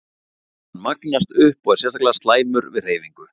Hann magnast upp og er sérstaklega slæmur við hreyfingu.